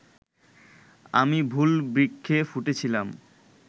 আমি ভুল বৃক্ষে ফুটেছিলাম